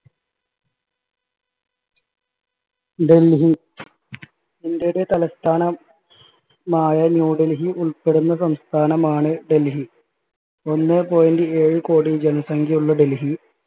ഡെൽഹി ഇന്ത്യയുടെ തലസ്ഥാനം മായ ന്യൂ ഡൽഹി ഉൾപ്പെടുന്ന സംസ്ഥാനമാണ് ഡൽഹി ഒന്നേ point ഏഴ് കോടി ജനസംഖ്യയുള്ള ഡൽഹി